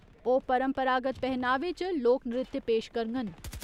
ओह् परम्परागत पहनावे च लोक नृत्य पेश करङन।